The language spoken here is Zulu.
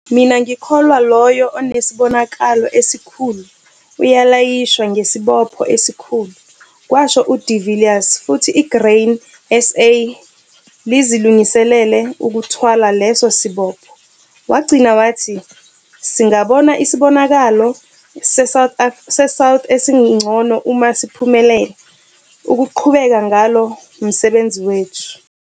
"Mina ngikholwa ukuthi loyo onesibonakalo esikhulu ulayishwa ngesibopho esikhulu", kwasho uDe Villiers futhi iGrain SA lizilungisele ukuthwala leso sibopho. Wagcina wathi "Singabona isibonakalo seSouth esingcono uma siphumelela ukuqhubeka ngalo msebenzi wethu".